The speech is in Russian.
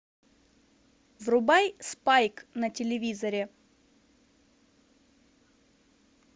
врубай спайк на телевизоре